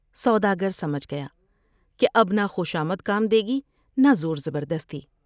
سودا گر سمجھ گیا کہ اب نہ خوشامد کام دے گی نہ زور زبردستی ۔